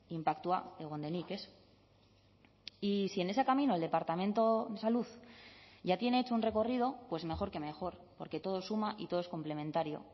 inpaktua egon denik ez y si en ese camino el departamento de salud ya tiene hecho un recorrido pues mejor que mejor porque todo suma y todo es complementario